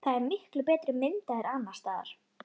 Það er til miklu betri mynd af þér annars staðar.